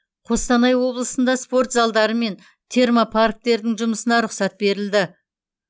қостанай облысында спорт залдары мен термопарктердің жұмысына рұқсат берілді